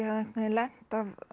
veginn lent